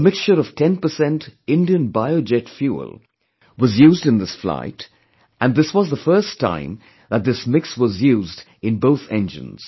A mixture of 10% Indian Biojet fuel was used in this flight and this was the first time that this mix was used in both engines